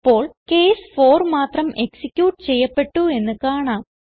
ഇപ്പോൾ കേസ് 4 മാത്രം എക്സിക്യൂട്ട് ചെയ്യപ്പെട്ടു എന്ന് കാണാം